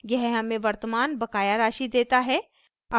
यह हमें वर्तमान बकाया राशि देता है